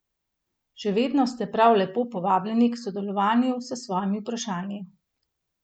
Še vedno ste prav lepo povabljeni k sodelovanju s svojimi vprašanji.